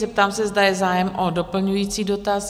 Zeptám se, zda je zájem o doplňující dotaz?